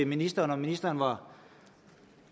ministeren om ministeren var